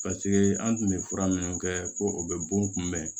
paseke an kun be fura minnu kɛ ko o bɛ bon kunbɛn